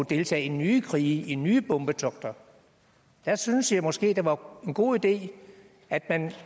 deltage i nye krige i nye bombetogter der synes jeg måske det var en god idé at man